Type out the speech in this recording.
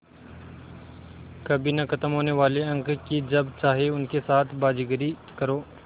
कभी न ख़त्म होने वाले अंक कि जब चाहे उनके साथ बाज़ीगरी करो